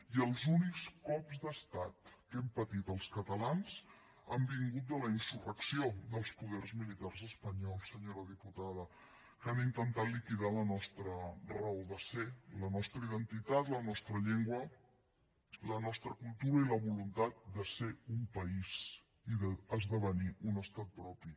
i els únics cops d’estat que hem patit els catalans han vingut de la insurrecció dels poders militars espanyols senyora diputada que han intentat liquidar la nostra raó de ser la nostra identitat la nostra llengua la nostra cultura i la voluntat de ser un país i d’esdevenir un estat propi